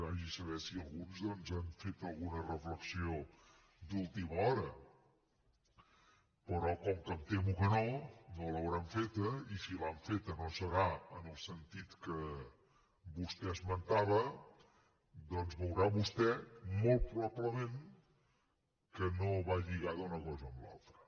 vagi a saber si alguns doncs han fet alguna reflexió d’última hora però com que em temo que no no l’hauran feta i si l’han feta no serà en el sentit que vostè esmentava doncs veurà vostè molt probablement que no va lligada una cosa amb l’altra